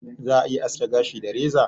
Za'a iya aske gashi da reza.